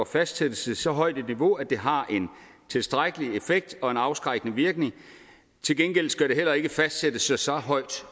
fastsættes til så højt et niveau at det har en tilstrækkelig effekt og en afskrækkende virkning til gengæld skal det heller ikke fastsættes så højt